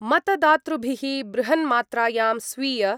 मतदातृभिः बृहन्मात्रायां स्वीय